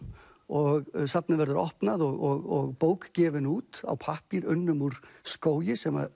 og safnið verður opnað og bók gefin út á pappír unnum úr skógi sem